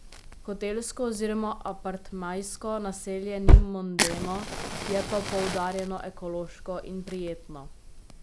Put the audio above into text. Hotelsko oziroma apartmajsko naselje ni mondeno, je pa poudarjeno ekološko in prijetno.